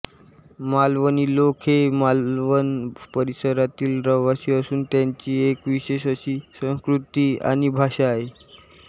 मालवणी लोक हे मालवण परिसरातील रहिवासी असून त्यांची एक विशेष अशी संस्कृती आणि भाषा आहे